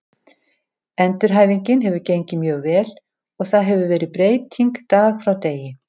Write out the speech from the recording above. Endurhæfingin hefur gengið mjög vel og það hefur verið breyting dag frá degi.